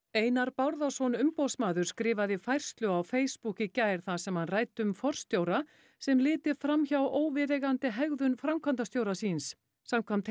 Einar Bárðarson umboðsmaður skrifaði færslu á Facebook í gær þar sem hann ræddi um forstjóra sem liti fram hjá óviðeigandi hegðun framkvæmdastjóra síns samkvæmt